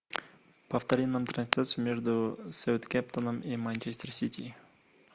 повтори нам трансляцию между саутгемптоном и манчестер сити